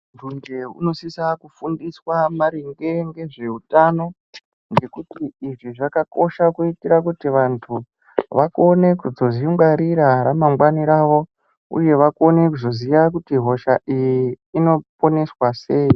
Tuje unosisa kufundiswa maringe nezveutano ngekuti izvi zvakakosha kuitir kuti vantu vakone kuzodzingwarira ramangwani rawo uye vakone kuzoziya kuti hosha iyi inoponeswa sei.